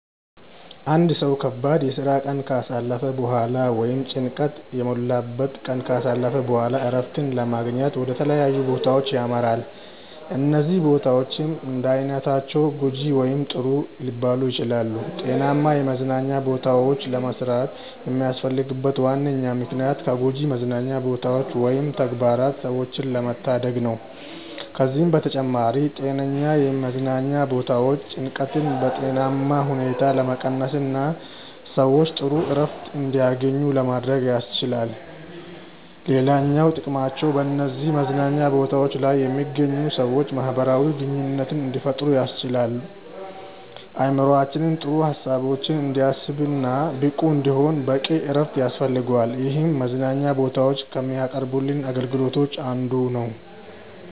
አንድ ሰው ከባድ የስራ ቀን ካሳለፈ በኋላ ወይም ጭንቀት የሞላበትን ቀን ካሳለፈ በኋላ እረፍትን ለማግኘት ወደ ተለያዩ ቦታዎች ያመራል። እነዚህ ቦታዎች እንዳይነታቸው ጐጂ ወይም ጥሩ ሊባሉ ይችላሉ። ጤናማ የመዝናኛ ቦታዎችን ለመስራት የሚያስፈልግበት ዋነኛ ምክንያት ከጎጂ መዝናኛ ቦታዎች ወይም ተግባራት ሰዎችን ለመታደግ ነው። ከዚህም በተጨማሪ ጤነኛ የመዝናኛ ቦታዎች ጭንቀትን በጤናማ ሁኔታ ለመቀነስና ሰዎች ጥሩ እረፍት እንዲያገኙ ለማድረግ ያስችላሉ። ሌላኛው ጥቅማቸው በነዚህ መዝናኛ ቦታዎች ላይ የሚገኙ ሰዎች ማህበራዊ ግንኙነት እንዲፈጥሩ ያስችላል። አእምሮአችን ጥሩ ሀሳቦችን እንዲያስብ እና ብቁ እንዲሆን በቂ እረፍት ያስፈልገዋል ይህም መዝናኛ ቦታዎች ከሚያቀርቡልን አገልግሎቶች አንዱ ነው።